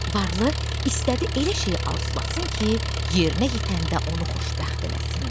Varlı istədi elə şeyi arzulasın ki, yerinə yetəndə onu xoşbəxt eləsin.